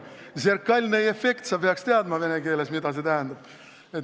Zerkalnõi effekt – sa peaks teadma, mida see vene keeles tähendab.